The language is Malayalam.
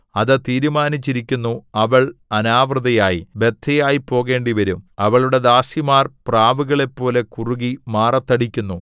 അത് തീരുമാനിച്ചിരിക്കുന്നു അവൾ അനാവൃതയായി ബദ്ധയായി പോകേണ്ടിവരും അവളുടെ ദാസിമാർ പ്രാവുകളെപ്പോലെ കുറുകി മാറത്തടിക്കുന്നു